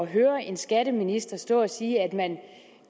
at høre en skatteminister stå og sige at man